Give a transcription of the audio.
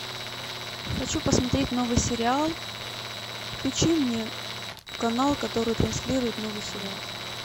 хочу посмотреть новый сериал включи мне канал который транслирует новый сериал